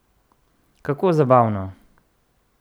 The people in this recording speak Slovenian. Kako zabavno!